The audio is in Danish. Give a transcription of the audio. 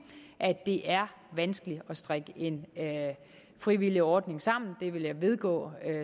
at det er vanskeligt at strikke en frivillig ordning sammen det vil jeg vedgå